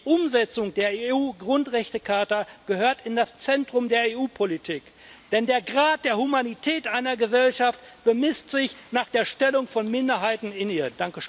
Die Umsetzung der EU Grundrechtecharta gehört in das Zentrum der EU Politik, denn der Grad der Humanität einer Gesellschaft bemisst sich nach der Stellung von Minderheiten in ihr.